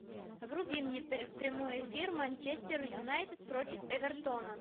вруби мне прямой эфир манчестер юнайтед против эвертона